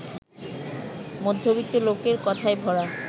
মধ্যবিত্ত লোকের কথায় ভরা